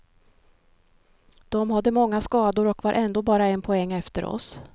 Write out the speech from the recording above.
De hade många skador och var ändå bara en poäng efter oss.